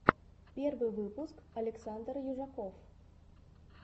первый выпуск александр южаков